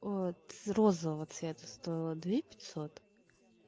вот розового цвета стоила две пятьсот